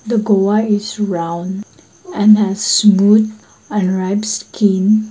the goav is round and has smooth and skin.